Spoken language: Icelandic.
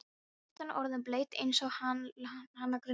Skyrtan orðin blaut eins og hana grunaði.